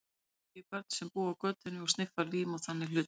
Einnig hitti ég börn sem búa á götunni og sniffa lím og þannig hluti.